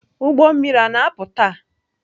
Ụgbọ mmiri a na-apụ taa?